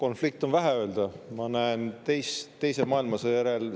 Konflikt on vähe öeldud, mina näen suurimat sõda Euroopas teise maailmasõja järel.